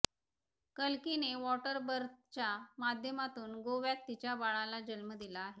कल्किने water बर्थच्या माध्यमातून गोव्यात तिच्या बाळाला जन्म दिला आहे